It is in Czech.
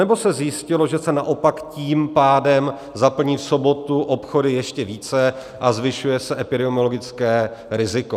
Anebo se zjistilo, že se naopak tím pádem zaplní v sobotu obchody ještě více a zvyšuje se epidemiologické riziko?